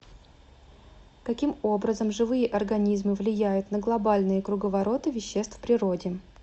каким образом живые организмы влияют на глобальные круговороты веществ в природе